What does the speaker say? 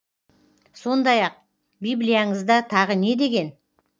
сондай ақ библияңызда тағы не деген